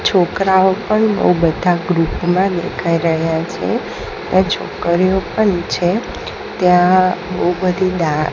છોકરાઓ પણ બઉ બધા ગ્રુપ માં દેખાય રહયા છે ને છોકરીઓ પણ છે ત્યાં બો બધી ડાન--